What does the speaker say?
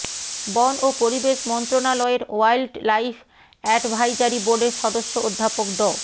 বন ও পরিবেশ মন্ত্রনালয়ের ওয়াইল্ড লাইভ অ্যাডভাইজারি বোর্ডের সদস্য অধ্যাপক ড